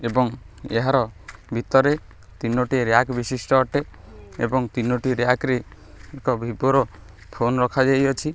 ଏବଂ ଏହାର ଭିତରେ ତିନୋଟି ରିୟାକ୍ ବିଶିଷ୍ଟ ଅଟେ ଏବଂ ତିନୋଟି ରିୟାକ୍ ରେ ଏକ ଭିଭୋ ର ଫୋନ୍ ରଖାଯାଇଅଛି।